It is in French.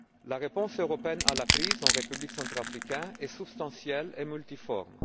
La réponse européenne à la crise en République centrafricaine est substantielle et multiforme.